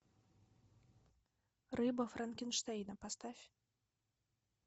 рыба франкенштейна поставь